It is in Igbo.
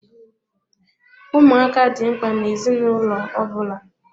Ụmụaka dị mkpa na-ezinụlọ ọbụla.